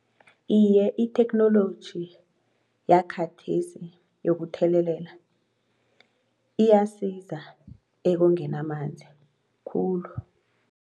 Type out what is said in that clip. Iye itheknoloji yakhathesi yokuthelelela iyasiza ekongeni amanzi khulu.